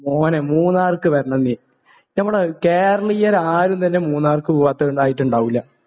മോനെ. മൂന്നാർക്ക് വരണം നീ. നമ്മൾ കേരളീയർ ആരും തന്നെ മൂന്നാർക്ക് പോവാത്തവരായിട്ട് ഉണ്ടാവില്ല.